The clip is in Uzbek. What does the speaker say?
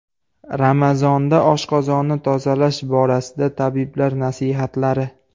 Ramazonda oshqozonni tozalash borasida tabiblar nasihatlari.